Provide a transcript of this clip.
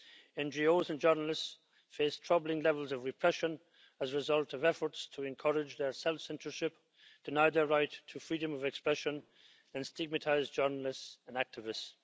NGOs and journalists face troubling levels of repression as a result of efforts to encourage their self-censorship, deny their right to freedom of expression and stigmatise journalists and activists.